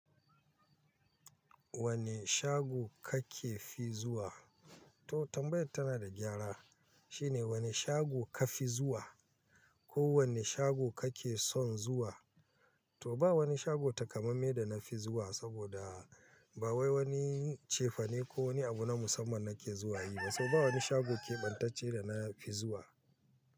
Wani shago kake fi zuwa? To tambayar tana da gyara. Shine wani shago ka fi zuwa ko wani shago kake son zuwa? To ba wani shago takamamme da na fi zuwa saboda ba wai wani cefane ko wani abu na musamman nake zuwa yi ba, saboda ba wani shago keɓantacce da na fi zuwa.